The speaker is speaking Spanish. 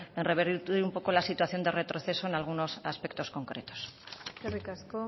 revertir un poco la situación de retroceso en algunos aspectos concretos eskerrik asko